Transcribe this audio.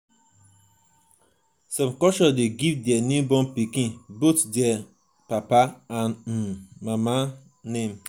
some culture de give their newborn pikin both their um papa and um mama um name